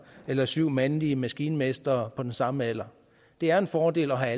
eller syv mandlige maskinmestre på den samme alder det er en fordel at have